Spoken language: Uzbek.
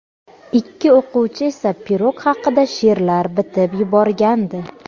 Ikki o‘quvchi esa pirog haqida she’rlar bitib yuborgandi.